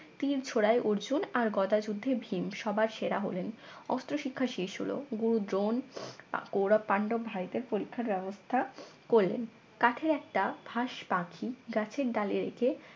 তীর ছোড়ায় অর্জুন আরগদা যুদ্ধে ভীম সবার সেরা হলেন অস্ত্রশিক্ষা শেষ হলো গুরু দ্রোণ কৌরব পান্ডব ভাইদের পরীক্ষার ব্যবস্থা করলেন কাঠের একটা ভাস পাখি গাছের ডালে রেখে